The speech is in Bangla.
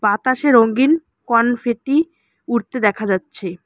বাতাসে রঙ্গিন কনফেটি উড়তে দেখা যাচ্ছে।